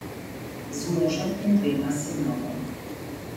Z možem in dvema sinovoma.